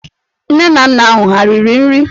Nne na nna ahụ ha riri nri?